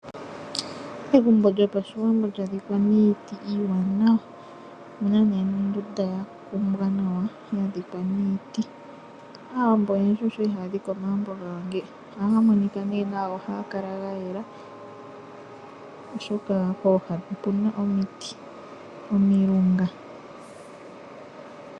Egumbo lyoPashiwambo lya dhikwa niiti iiwaanawa. Omu na ondunda ya kumbwa nawa ya dhikwa niiti. Aawambo oyendji osho ya li haya dhike omagumbo gawo ngeyika, ohaga monika nduno nawa nohaga kala ga yela, oshoka pooha opu na omiti dhomilunga.